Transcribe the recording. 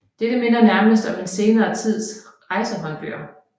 Dette minder nærmest om en senere tids rejsehåndbøger